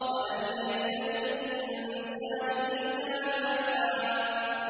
وَأَن لَّيْسَ لِلْإِنسَانِ إِلَّا مَا سَعَىٰ